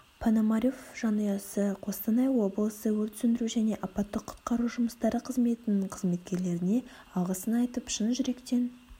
пономарев жанұясы қостанай облысы өрт сөндіру және апаттық-құтқару жұмыстары қызметінің қызметкерлеріне алғысын айтып шын жүректеп